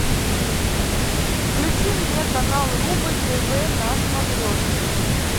включи мне канал рубль тв на смотрешке